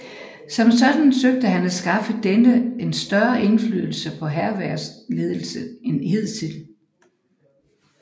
Som sådan søgte han at skaffe denne en større indflydelse på hærvæsenets ledelse end hidtil